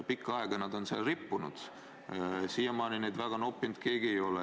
Pikka aega nad on seal rippunud, siiamaani neid väga noppinud keegi ei ole.